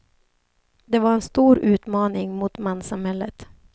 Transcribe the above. Det var en stor utmaning mot manssamhället.